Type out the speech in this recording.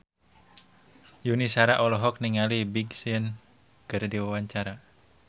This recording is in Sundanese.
Yuni Shara olohok ningali Big Sean keur diwawancara